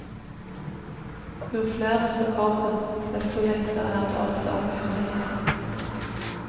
Jo flere som kommer, desto lettere er det å oppdage hemmeligheten.